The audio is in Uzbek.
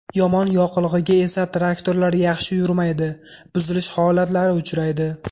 Yomon yoqilg‘iga esa traktorlar yaxshi yurmaydi, buzilish holatlari uchraydi.